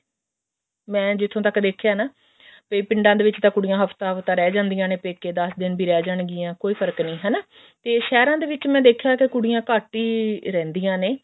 ਮੈਂ ਜਿੱਥੋਂ ਤੱਕ ਦੇਖਿਆ ਨਾ ਵੀ ਪਿੰਡਾਂ ਦੇ ਵਿੱਚ ਤਾਂ ਕੁੜੀਆਂ ਹਫਤਾ ਹਫਤਾ ਰਹਿ ਜਾਂਦੀਆਂ ਨੇ ਪੇਕੇ ਦਸ ਦਿਨ ਵੀ ਰਹਿ ਜਾਣਗੀਆਂ ਕੋਈ ਫਰਕ ਨੀ ਹਨਾ ਤੇ ਸਹਿਰਾਂ ਦੇ ਵਿੱਚ ਮੈਂ ਦੇਖਿਆ ਵੀ ਕੁੜੀਆਂ ਘੱਟ ਹੀ ਰਹਿੰਦੀਆਂ ਨੇ